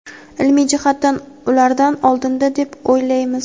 ilmiy jihatdan ulardan oldinda deb o‘ylaymiz.